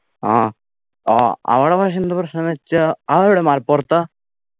ആ ആ അവിടെ പക്ഷെ എന്താ പ്രശ്നംന്ന് വെച്ചാ അതെവിട മലപ്പുറത്താ